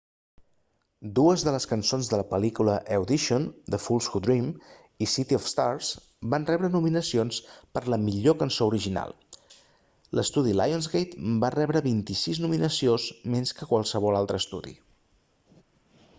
dues de les cançons de la pel·lícula audition the fools who dream i city of stars van rebre nominacions per a la millor cançó original. l'estudi lionsgate va rebre 26 nominacions  més que qualsevol altre estudi